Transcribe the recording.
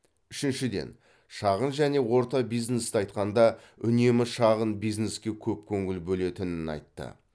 үшіншіден шағын және орта бизнесті айтқанда үнемі шағын бизнеске көп көңіл бөлетінін айтты